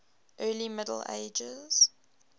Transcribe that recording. early middle ages